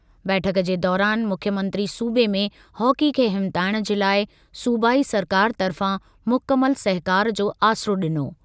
बैठक जे दौरान मुख्यमंत्री सूबे में हॉकी खे हिमथाइणु जे लाइ सूबाई सरकार तर्फ़ां मुकमल सहिकारु जो आसिरो ॾिनो।